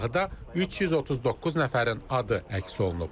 Siyahıda 339 nəfərin adı əks olunub.